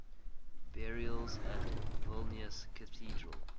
burials at vilnius cathedral